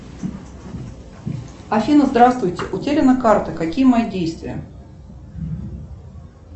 афина здравствуйте утеряна карта какие мои действия